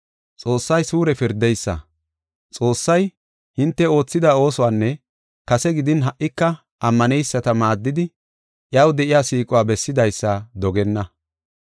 Xoossay suure pirdeysa. Xoossay, hinte oothida oosuwanne kase gidin ha77ika ammaneyisata maaddidi, iyaw de7iya siiquwa bessidaysa dogenna.